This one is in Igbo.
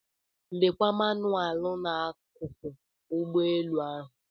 Lekwa manụaalụ n'akụkụ ụgbọelu ahụ.